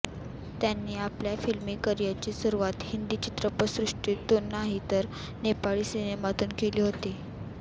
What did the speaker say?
त्यांनी आपल्या फिल्मी करिअरची सुरुवात हिंदी चित्रपटसृष्टीतून नाही तर नेपाळी सिनेमातून केली होती